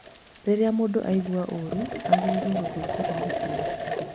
Rĩrĩa mũndũ aigua ũru agĩrĩirwo gũthii kũrigitwo